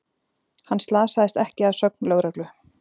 Hann slasaðist ekki að sögn lögreglu